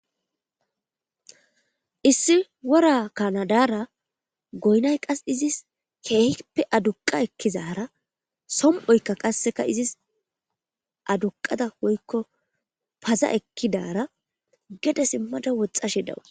issi wora kanadara goynay qas izis keehippe aduqa ekkizara som7oykka qasseka izis aduqada woykko paza ekkidara gede simmada woxxashe dawus